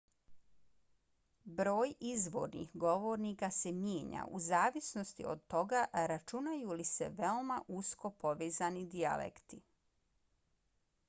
broj izvornih govornika se mijenja u zavisnosti od toga računaju li se veoma usko povezani dijalekti